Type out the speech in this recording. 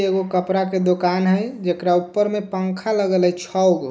एगो कपड़ा के दुकान है जेकरा ऊपर मे पंखा लगल है छे गो।